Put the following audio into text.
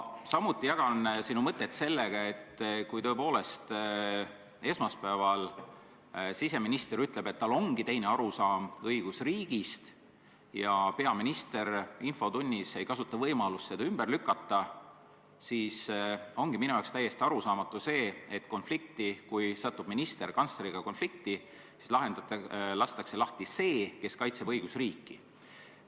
Samuti jagan sinu mõtet, et kui tõepoolest esmaspäeval siseminister ütleb, et tal ongi teine arusaam õigusriigist, ja peaminister infotunnis ei kasuta võimalust seda ümber lükata, siis ongi täiesti arusaamatu, et ministri kantsleriga konflikti sattumisel lastakse lahti see, kes kaitseb õigusriiki.